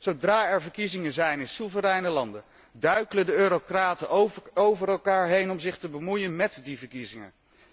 Zodra er verkiezingen zijn in soevereine landen, duikelen de eurocraten over elkaar heen om zich te bemoeien met die verkiezingen.